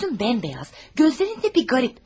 Üzün ağappaqdır, gözlərin də bir qəribədir.